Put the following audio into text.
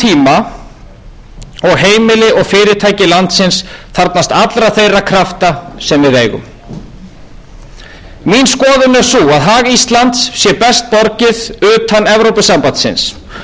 fyrirtæki landsins þarfnast allra þeirra krafta sem við eigum mín skoðun er sú að hag íslands sé best borgið utan evrópusambandsins og að nú sé ekki rétti tíminn